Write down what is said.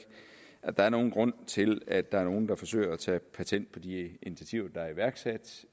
at der er nogen grund til at der er nogen der forsøger at tage patent på de initiativer der er iværksat